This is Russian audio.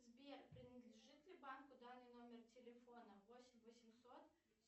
сбер принадлежит ли банку данный номер телефона восемь восемьсот